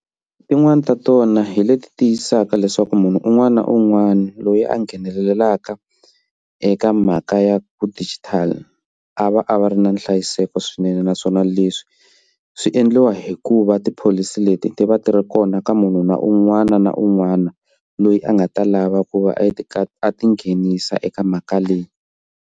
Tin'wani ta tona hi leti tiyisaka leswaku munhu un'wana na un'wana loyi a nghenelelaka eka mhaka ya ku digital a va a va ri na nhlayiseko swinene naswona leswi swi endliwa hikuva ti-policy leti ti va ti ri kona ka munhu na un'wana na un'wana loyi a nga ta lava ku va a ti a ti nghenisa eka mhaka leyi.